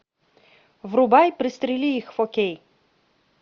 врубай пристрели их фо кей